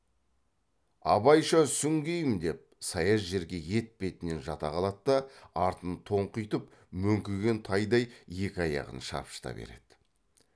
абайша сүңгимін деп саяз жерге етпетінен жата қалады да артын тоңқитып мөңкіген тайдай екі аяғын шапшыта береді